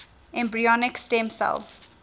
embryonic stem cell